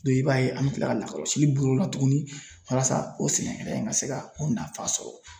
i b'a ye an bɛ tila ka lakɔlɔsi boli o la tuguni walasa o sɛnɛkɛla in ka se ka nafa sɔrɔ.